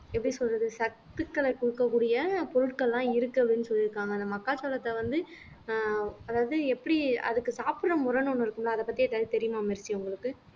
எப்படி சொல்றது சத்துக்களை கொடுக்கக் கூடிய பொருட்கள்லாம் இருக்கு அப்படின்னு சொல்லி இருக்காங்க அந்த மக்காச்சோளத்தை வந்து அஹ் அதாவது எப்படி அதுக்கு சாப்பிடுற முரண் ஒண்ணு இருக்கும்ல அத பத்தி ஏதாவது தெரியுமா மெர்சி உங்களுக்கு